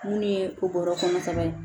Munni ye okura kɔnɔ sɛbɛn ye